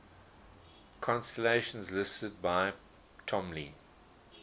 constellations listed by ptolemy